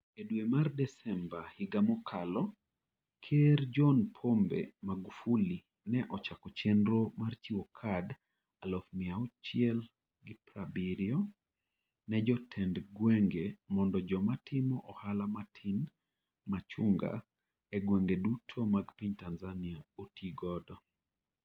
E dwe mar Desemba higa mokalo, Ker John Pombe Magufuli ne ochako chenro mar chiwo kad 670,000 ne jotend gwenge mondo joma timo ohala matin (machunga) e gwenge duto mag piny Tanzania oti godo.